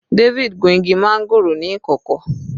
David gun igi máńgòrò ní ìkọ̀kọ̀.